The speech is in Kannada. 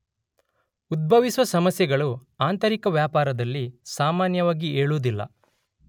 ಉದ್ಭವಿಸುವ ಸಮಸ್ಯೆಗಳು ಆಂತರಿಕ ವ್ಯಾಪಾರದಲ್ಲಿ ಸಾಮಾನ್ಯವಾಗಿ ಏಳುವುದಿಲ್ಲ.